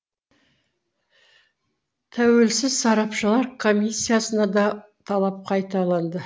тәуелсіз сарапшылар комиссиясына да талап қайталанды